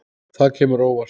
Það kemur á óvart.